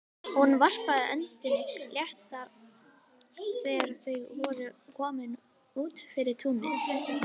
Hún varpaði öndinni léttar þegar þau voru komin út fyrir túnið.